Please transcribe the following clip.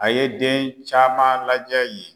A ye den caman lajɛ yen